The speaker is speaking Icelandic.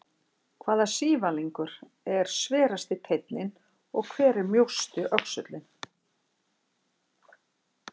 Hvaða sívalningur er sverasti teinninn og hver er mjósti öxullinn?